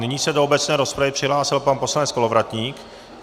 Nyní se do obecné rozpravy přihlásil pan poslanec Kolovratník.